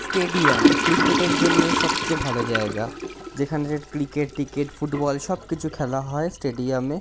Stadium cricket এর জন্য সবচেয়ে ভালো জায়গা যেখানে ক্রিকেট ট্রিকেট ফুটবল সব কিছু খেলা হয় স্টেডিয়াম এ।